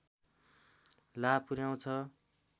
लाभ पुर्‍याउँछ